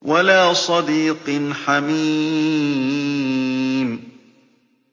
وَلَا صَدِيقٍ حَمِيمٍ